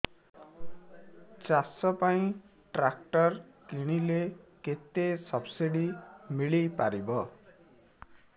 ଚାଷ ପାଇଁ ଟ୍ରାକ୍ଟର କିଣିଲେ କେତେ ସବ୍ସିଡି ମିଳିପାରିବ